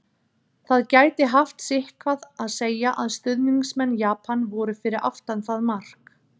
Það gæti haft sitthvað að segja að stuðningsmenn Japan voru fyrir aftan það mark!